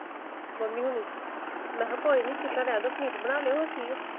Mummy ਹੋਣੀ ਮੈਂ ਕਿਹਾ ਕੋਈ ਨੀ ਚਿਕਨ ਰਹਿੰਦੋ ਪਨੀਰ ਬਣਾ ਲਿਓ।